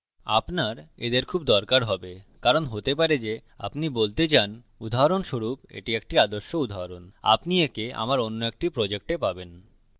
আপনার এদের খুব দরকার হবে কারণ হতে পারে যে আপনি বলতে চান উদাহরণস্বরূপএটি একটি আদর্শ উদাহরণ আপনি একে আমার কোনো একটি projects পাবেন